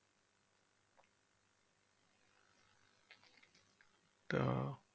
তো